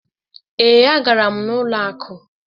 Ee, a gara m n'ụlọ akụ.